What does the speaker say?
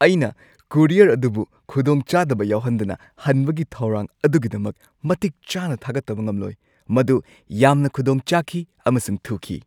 ꯑꯩꯅ ꯀꯨꯔꯤꯌꯔ ꯑꯗꯨꯕꯨ ꯈꯨꯗꯣꯡꯆꯥꯗꯕ ꯌꯥꯎꯍꯟꯗꯅ ꯍꯟꯕꯒꯤ ꯊꯧꯔꯥꯡ ꯑꯗꯨꯒꯤꯗꯃꯛ ꯃꯇꯤꯛ ꯆꯥꯅꯥ ꯊꯥꯒꯠꯇꯕ ꯉꯝꯂꯣꯏ; ꯃꯗꯨ ꯌꯥꯝꯅ ꯈꯨꯗꯣꯡ ꯆꯥꯈꯤ ꯑꯃꯁꯨꯡ ꯊꯨꯈꯤ ꯫